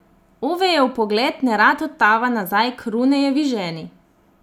Ovejev pogled nerad odtava nazaj k Runejevi ženi.